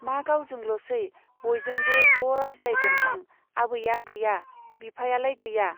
मा गावजोंल'सै , बयजोंबो ज' रायज्लायगोन आं। आबैया गैया ? बिफायालाय गैया ?